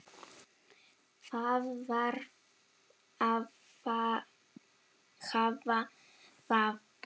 Það varð að hafa það.